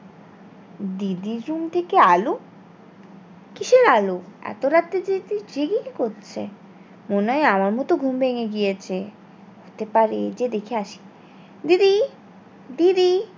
দিদির room থেকে আলো কিসের আলো? এতো রাতে দিদি জেগে কি করছে? মনে হয় আমার মতো ঘুম ভেঙে গিয়েছে হতে পারে যে দেখে আসি দিদি দিদি